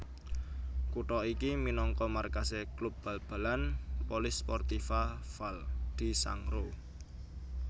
Kutha iki minangka markasé klub bal balan Polisportiva Val di Sangro